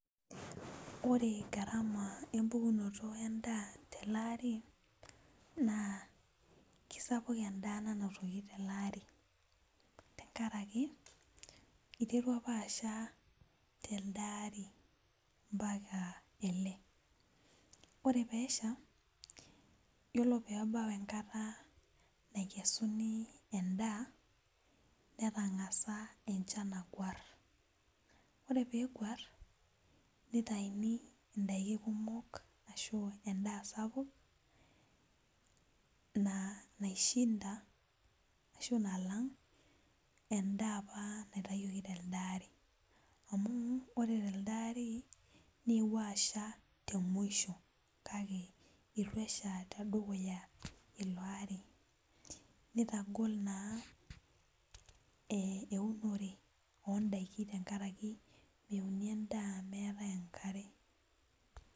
Ore garama empukunoto endaa tolari na kesapuk endaa nainotoki telde ari amu iterua apa asha telde ari yiolo peesha yiolo pebau enkata nakesuni endaa netangasa enchan agwar yiolo peguar nitauni endaa sapuk naishinda ashu nalang endaa apa naitawuko telde ari amu ore tedukuya newuo asha telde ari kake ituesha te mwisho nitagol naa eunore ondakin tenkaraki meuni endaa meetae enkare.